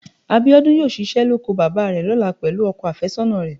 Abíọ́dún yóò ṣiṣẹ́ lóko bàbá rẹ̀ lọ́la pẹ̀lú ọkọ àfẹ́sọ́nà rẹ̀